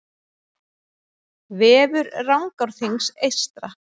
Vefur Rangárþings eystra